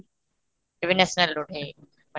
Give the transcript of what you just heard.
ଏବେ national road